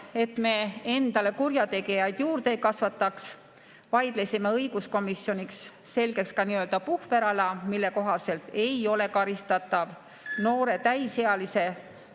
Et me endale kurjategijaid juurde ei kasvataks, vaidlesime õiguskomisjonis selgeks ka nii‑öelda puhverala, mille kohaselt ei ole karistatav noore täisealise ...